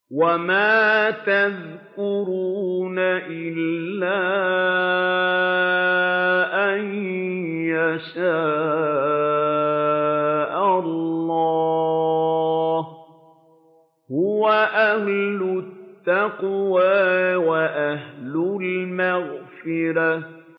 وَمَا يَذْكُرُونَ إِلَّا أَن يَشَاءَ اللَّهُ ۚ هُوَ أَهْلُ التَّقْوَىٰ وَأَهْلُ الْمَغْفِرَةِ